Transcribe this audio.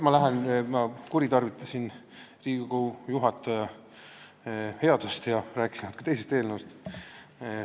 Ma kuritarvitasin Riigikogu juhataja headust ja rääkisin natuke teisest eelnõust.